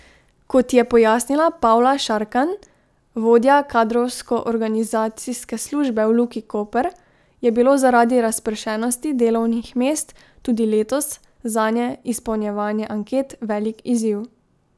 Kot je pojasnila Pavla Šarkanj, vodja kadrovsko organizacijske službe v Luki Koper, je bilo zaradi razpršenosti delovnih mest tudi letos zanje izpolnjevanje anket velik izziv.